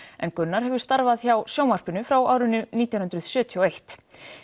en Gunnar hefur starfað hjá sjónvarpinu frá árinu nítján hundruð sjötíu og eitt